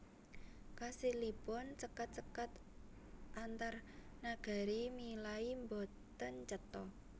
Kasilipun sekat sekat antarnagari milai boten cetha